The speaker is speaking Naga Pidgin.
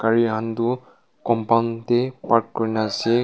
gari khan toh compund tae park kurina ase.